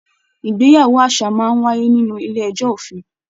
Ìgbéyàwó àṣà máa n wáyé nínú ilé-ẹjọ́ òfin.